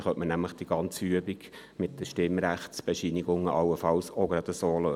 Allenfalls könnte die Übung mit den Stimmrechtsbescheinigungen auch so gelöst werden.